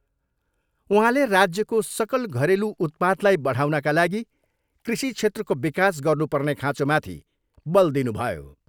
उहाँले राज्यको सकल घरेलु उत्पादलाई बढाउनका लागि कृषि क्षेत्रको विकास गर्नुपर्ने खाँचोमाथि बल दिनुभयो।